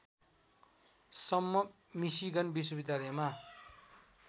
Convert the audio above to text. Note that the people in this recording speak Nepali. सम्म मिसिगन विश्वविद्यालयमा